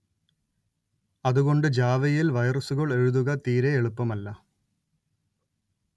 അതുകൊണ്ട് ജാവയിൽ വൈറസുകൾ എഴുതുക തീരെ എളുപ്പമല്ല